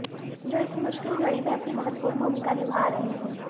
जो इस मुश्किल घड़ी में अपनी महत्वपूर्ण भूमिका निभा रहे हैं